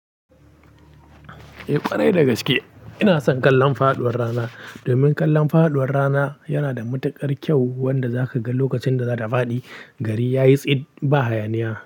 Eh kwarai dagaske ina son kallon faduwar rana domin kallon faduwar rana yana da matukar kyau wanda zaka ga lokacin da za ta fadi. Gari yayi tsit ba hayaniya.